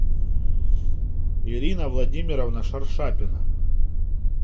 ирина владимировна шаршапина